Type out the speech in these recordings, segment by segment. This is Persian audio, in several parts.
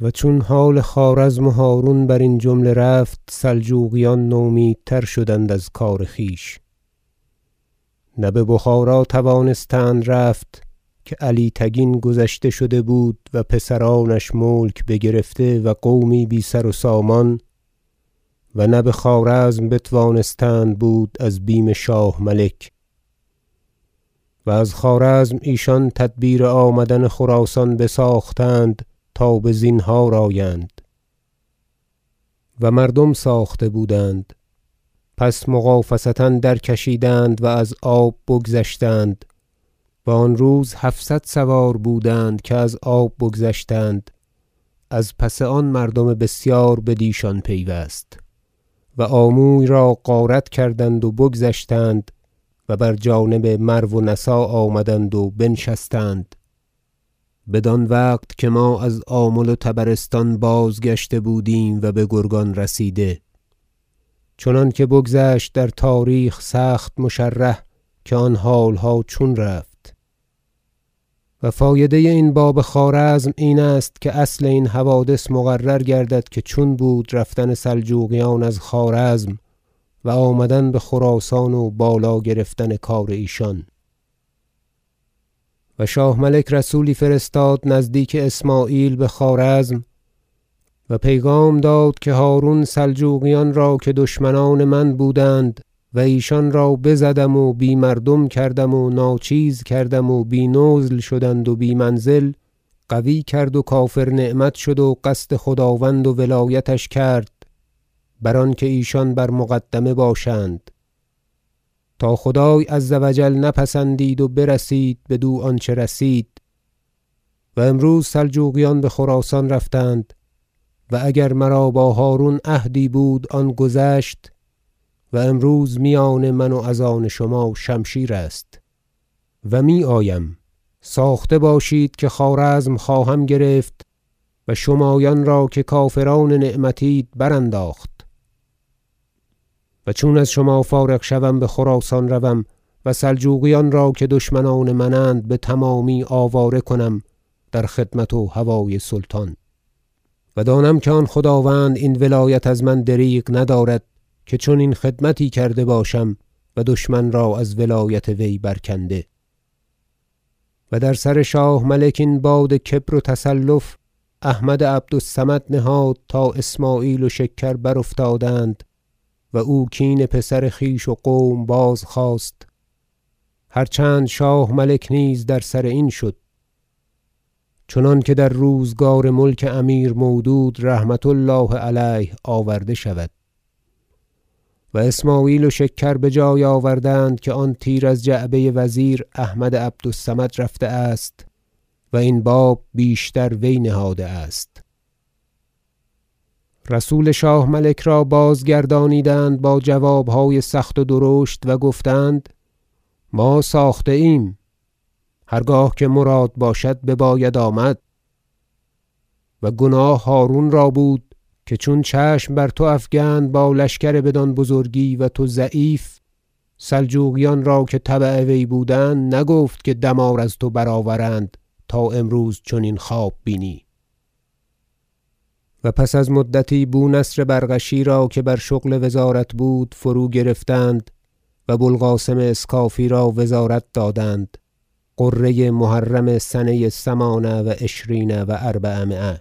و چون حال خوارزم و هرون برین جمله رفت سلجوقیان نومیدتر شدند از کار خویش نه ببخارا توانستند رفت که علی تگین گذشته شده بود و پسرانش ملک بگرفته و قومی بی سر و سامان و نه بخوارزم بتوانستند بود از بیم شاه ملک و از خوارزم ایشان تدبیر آمدن خراسان بساختند تا بزینهار آیند و مردم ساخته بودند پس مغافصه درکشیدند و از آب بگذشتند و آن روز هفصد سوار بودند که از آب بگذشتند از پس آن مردم بسیار بدیشان پیوست و آموی را غارت کردند و بگذشتند و بر جانب مرو و نسا آمدند و بنشستند بدان وقت که ما از آمل و طبرستان بازگشته بودیم و بگرگان رسیده چنانکه بگذشت در تاریخ سخت مشرح که آن حالها چون رفت و فایده این باب خوارزم این است که اصل این حوادث مقرر گردد که چون بود رفتن سلجوقیان از خوارزم و آمدن بخراسان و بالا گرفتن کار ایشان و شاه ملک رسولی فرستاد نزدیک اسمعیل بخوارزم و پیغام داد که هرون سلجوقیان را که دشمنان من بودند و ایشان را بزدم و بی مردم کردم و ناچیز کردم و بی نزل شدند و بی منزل قوی کرد و کافر نعمت شد و قصد خداوند و ولایتش کرد بر آنکه ایشان بر مقدمه باشند تا خدای عز و جل نپسندید و برسید بدو آنچه رسید و امروز سلجوقیان بخراسان رفتند و اگر مرا با هرون عهدی بود آن گذشت و امروز میان من و از آن شما شمشیر است و میآیم ساخته باشید که خوارزم خواهم گرفت و شمایان را که کافران نعمت اید برانداخت و چون از شما فارغ شوم بخراسان روم و سلجوقیان را که دشمنان منند بتمامی آواره کنم در خدمت و هوای سلطان و دانم که آن خداوند این ولایت از من دریغ ندارد که چنین خدمتی کرده باشم و دشمن را از ولایت وی برکنده و در سر شاه ملک این باد کبر و تصلف احمد عبد الصمد نهاد تا اسمعیل و شکر برافتادند و او کین پسر خویش و قوم بازخواست هر چند شاه ملک نیز در سر این شد چنانکه در روزگار ملک امیر مودود رحمة الله علیه آورده شود- و اسمعیل و شکر بجای آوردند که آن تیر از جعبه وزیر احمد عبد الصمد رفته است و این باب بیشتر وی نهاده است رسول شاه ملک را بازگردانیدند با جوابهای سخت و درشت و گفتند ما ساخته ایم هر گاه که مراد باشد بباید آمد و گناه هرون را بود که چون چشم بر تو افگند با لشکر بدان بزرگی و تو ضعیف سلجوقیان را که تبع وی بودند نگفت که دمار از تو برآورند تا امروز چنین خواب بینی و پس از مدتی بو نصر بزغشی را که بر شغل وزارت بود فروگرفتند و بو القاسم اسکافی را وزارت دادند غره محرم سنه ثمان و عشرین و اربعمایه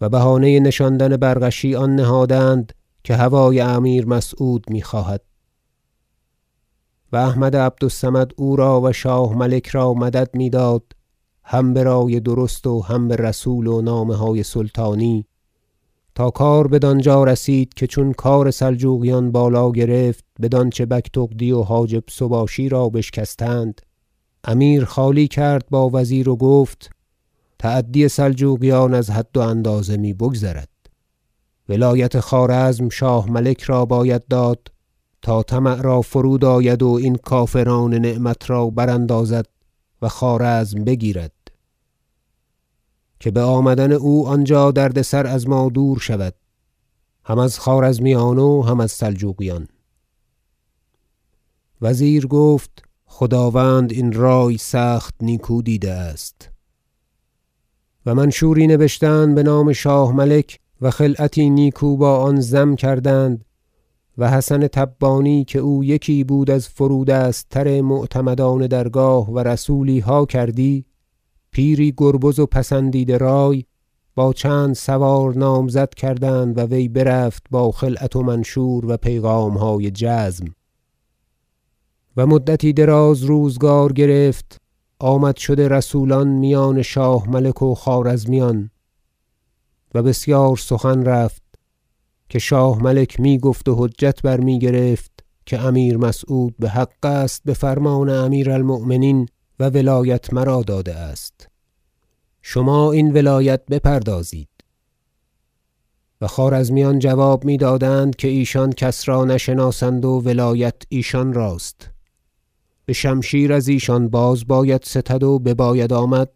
و بهانه نشاندن بزغشی آن نهادند که هوای امیر مسعود میخواهد و احمد عبد الصمد او را و شاه ملک را مدد میداد هم برای درست و هم برسول و نامه های سلطانی تا کار بدانجا رسید که چون کار سلجوقیان بالا گرفت بدانچه بگتغدی و حاجب سباشی را بشکستند امیر خالی کرد با وزیر و گفت تعدی سلجوقیان از حد و اندازه می بگذرد ولایت خوارزم شاه ملک را باید داد تا طمع را فرود آید و این کافران نعمت را براندازد و خوارزم بگیرد که بآمدن او آنجا درد سر از ما دور شود هم از خوارزمیان و هم از سلجوقیان وزیر گفت خداوند این رای سخت نیکو دیده است و منشوری نبشتند بنام شاه ملک و خلعتی نیکو با آن ضم کردند و حسن تبانی که او یکی بود از فرودست تر معتمدان درگاه و رسولیها کردی پیری گربز و پسندیده رای با چند سوار نامزد کردند و وی برفت با خلعت و منشور و پیغامهای جزم و مدتی دراز روزگار گرفت آمد شد رسولان میان شاه ملک و خوارزمیان و بسیار سخن رفت که شاه ملک میگفت و حجت بر میگرفت که امیر مسعود امیر بحق است بفرمان امیر المؤمنین و ولایت مرا داده است شما این ولایت بپردازید و خوارزمیان جواب میدادند که ایشان کس را نشناسند و ولایت ایشان راست بشمشیر از ایشان باز باید ستد و بباید آمد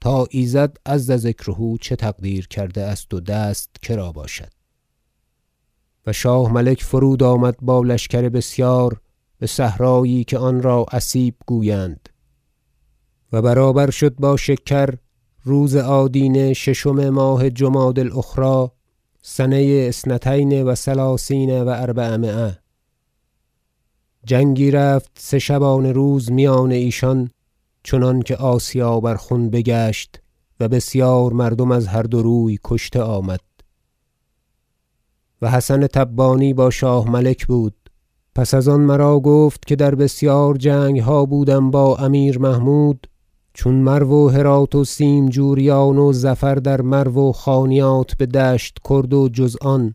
تا ایزد عز ذکره چه تقدیر کرده است و دست کرا باشد و شاه ملک فرود آمد با لشکر بسیار بصحرایی که آنرا اسیب گویند و برابر شد با شکر روز آدینه ششم ماه جمادی الأخری سنه اثنتین و ثلاثین و اربعمایه جنگی رفت سه شبانروز میان ایشان چنانکه آسیا بر خون بگشت و بسیار مردم از هر دو روی کشته آمد و حسن تبانی با شاه ملک بود پس از آن مرا گفت که در بسیار جنگها بودم با امیر محمود چون مرو و هرات و سیمجوریان و ظفر در مرو و خانیات بدشت کرد و جز آن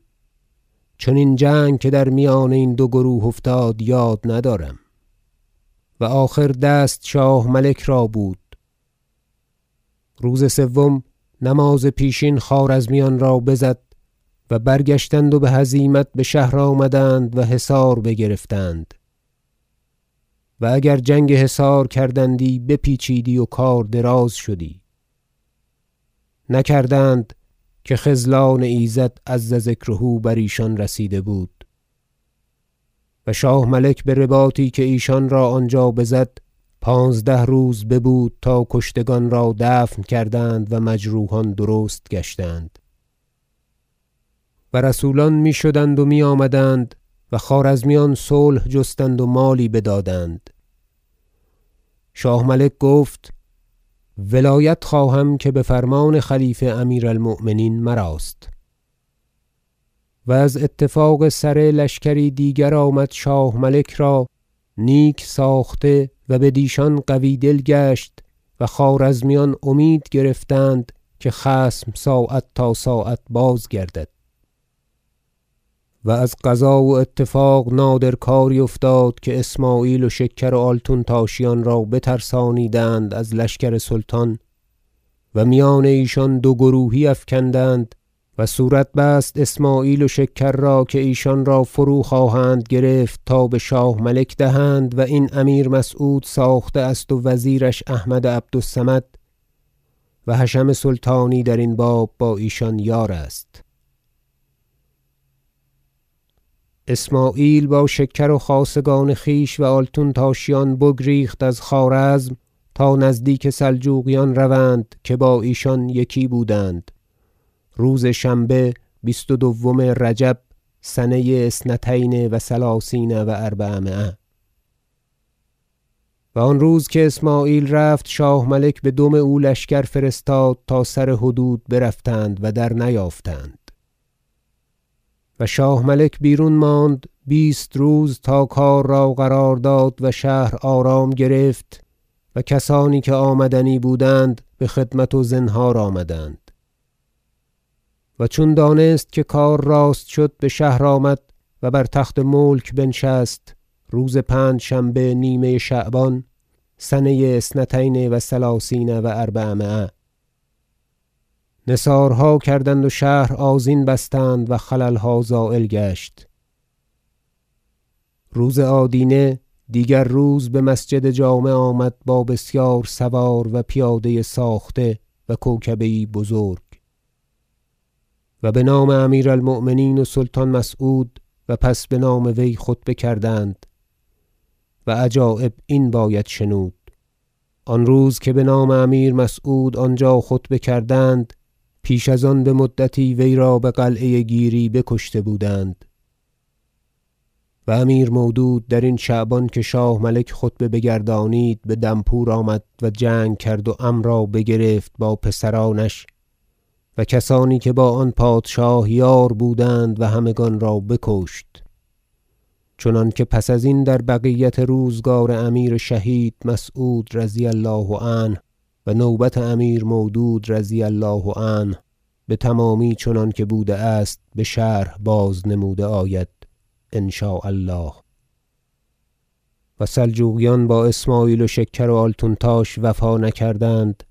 چنین جنگ که در میان این دو گروه افتاد یاد ندارم و آخر دست شاه ملک را بود روز سوم نماز پیشین خوارزمیان را بزد و برگشتند و بهزیمت بشهر آمدند و حصار بگرفتند و اگر جنگ حصار کردندی بپیچیدی و کار دراز شدی نکردند که خذلان ایزد عز ذکره بر ایشان رسیده بود و شاه- ملک به رباطی که ایشان را آنجا بزد پانزده روز ببود تا کشتگان را دفن کردند و مجروحان درست گشتند و رسولان می شدند و میآمدند و خوارزمیان صلح جستند و مالی بدادند شاه ملک گفت ولایت خواهم که بفرمان خلیفه امیر المؤمنین مراست بر تخت خوارزم نشستن شاه ملک و از اتفاق سره لشکری دیگر آمد شاه ملک را نیک ساخته و بدیشان قوی- دل گشت و خوارزمیان امید گرفتند که خصم ساعت تا ساعت بازگردد و از قضا و اتفاق نادر کاری افتاد که اسمعیل و شکر و آلتونتاشیان را بترسانیدند از لشکر سلطان و میان ایشان دو گروهی افگندند و صورت بست اسمعیل و شکر را که ایشان را فرو- خواهند گرفت تا بشاه ملک دهند و این امیر مسعود ساخته است و وزیرش احمد- عبد الصمد و حشم سلطانی درین باب با ایشان یار است اسمعیل با شکر و خاصگان خویش و آلتونتاشیان بگریخت از خوارزم تا نزدیک سلجوقیان روند که با ایشان یکی بودند روز شنبه بیست و دوم رجب سنه اثنتین و ثلثین و اربعمایه و آن روز که اسمعیل رفت شاه ملک بدم او لشکر فرستاد تا سر حدود برفتند و درنیافتند و شاه ملک بیرون ماند بیست روز تا کار را قرار داد و شهر آرام گرفت و کسانی که آمدنی بودند بخدمت و زنهار آمدند و چون دانست که کار راست شد بشهر آمد و بر تخت ملک بنشست روز پنجشنبه نیمه شعبان سنه اثنتین و ثلثین و اربعمایه نثارها کردند و شهر آذین بستند و خللها زایل گشت روز آدینه دیگر روز بمسجد جامع آمد با بسیار سوار و پیاده ساخته و کوکبه یی بزرگ و بنام امیر المؤمنین و سلطان مسعود و پس بنام وی خطبه کردند و عجایب این باید شنود آن روز که بنام امیر مسعود آنجا خطبه کردند پیش از آن بمدتی ویرا بقلعه گیری بکشته بودند و امیر مودود درین شعبان که شاه ملک خطبه بگردانید به دنپور آمد و جنگ کرد و عم را بگرفت با پسرانش و کسانی که با آن پادشاه یار بودند و همگان را بکشت چنانکه پس ازین در بقیت روزگار امیر شهید مسعود رضی الله عنه و نوبت امیر مودود رضی الله عنه بتمامی چنانکه بوده است بشرح باز نموده آید ان شاء الله و سلجوقیان با اسمعیل و شکر و آلتونتاش وفا نکردند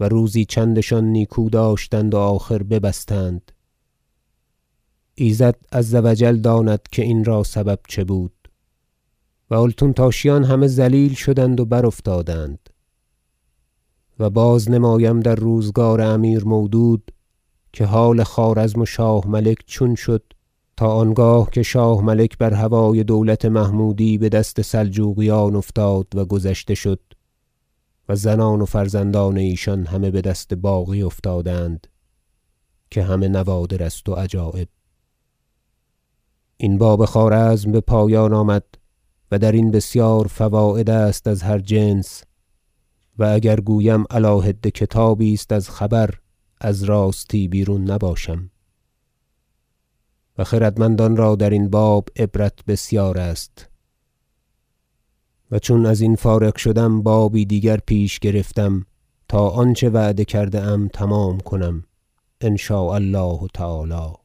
و روزی چندشان نیکو داشتند و آخر ببستند ایزد عز و جل داند که این را سبب چه بود و آلتونتاشیان همه ذلیل شدند و برافتادند و باز نمایم در روزگار امیر مودود که حال خوارزم و شاه- ملک چون شد تا آنگاه که شاه ملک بر هوای دولت محمودی بدست سلجوقیان افتاد و گذشته شد و زنان و فرزندان ایشان همه بدست باغی افتادند که همه نوادر است و عجایب این باب خوارزم بپایان آمد و در این بسیار فواید است از هر جنس و اگر گویم علی حده کتابی است از خبر از راستی بیرون نباشم و خردمندان را درین باب عبرت بسیار است و چون ازین فارغ شدم بابی دیگر پیش گرفتم تا آنچه وعده کرده ام تمام کنم ان شاء الله تعالی